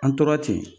An tora ten